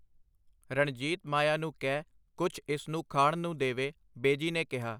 ਰਣਜੀਤ ਮਾਇਆ ਨੂੰ ਕਹਿ ਕੁਛ ਇਸ ਨੂੰ ਖਾਣ ਨੂੰ ਦੇਵੇ, ਬੇਜੀ ਨੇ ਕਿਹਾ.